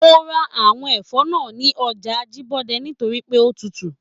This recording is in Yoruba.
Mo ra àwọn ẹfọ náà ní ọjà Ajibọde nítorí pé o tútù.